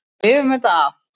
Við lifum þetta af.